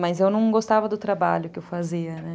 Mas eu não gostava do trabalho que eu fazia, né?